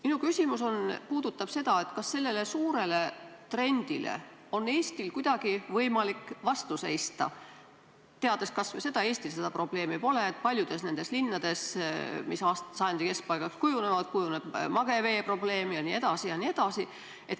Minu küsimus puudutab seda, kas sellele suurele trendile on Eestil kuidagi võimalik vastu seista, teades kas või seda , et paljudes nendes linnades, mis sajandi keskpaigaks kujunevad, tekib mageveeprobleem jne.